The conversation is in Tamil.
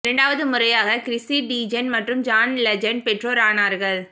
இரண்டாவது முறையாக கிறிஸ்ஸி டீஜென் மற்றும் ஜான் லெஜண்ட் பெற்றோர் ஆனார்கள்